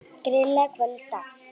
Grillað að kvöldi dags.